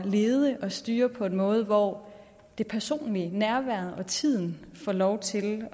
lede og styre på en måde hvor det personlige og nærværet og tiden får lov til